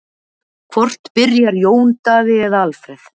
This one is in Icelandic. Hvor byrjar, Jón Daði eða Alfreð?